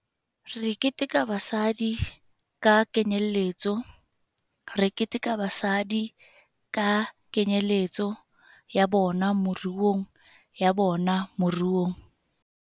Re keteka basadi ka kenyeletso Re keteka basadi ka kenyeletso ya bona moruongya bona moruong.